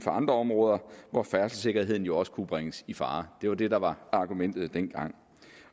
andre områder hvor færdselssikkerheden jo også kunne bringes i fare det var det der var argumentet dengang